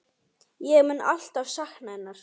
Ég mun alltaf sakna hennar.